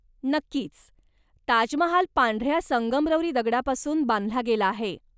नक्कीच, ताजमहाल पांढऱ्या संगमरवरी दगडापासून बांधला गेला आहे.